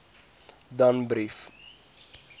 danbrief